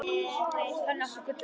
Þannig átti gullið að vaxa.